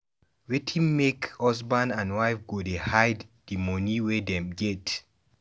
Wetin make husband and wife go dey hide di moni wey dem get?